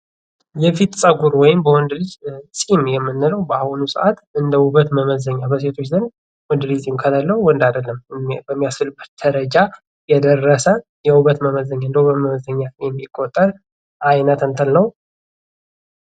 የፊት ፀጉር ወይም በወንድ ልጅ ጺም የምንለው በአሁኑ ሰዓት እንደ ውበት መመዘኛ በሴቶች ዘንድ ወንድ ልጅ ጺም ከሌለው ወንድ አይደለም በሚያስብልበት ደረጃ የደረሰ የውበት መመዘኛ የሚቆጠር አይነት እንትን ነው።